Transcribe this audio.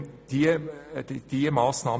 Wir unterstützen diese Massnahme.